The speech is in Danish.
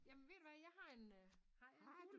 Jamen ved du hvad jeg har en har jeg ikke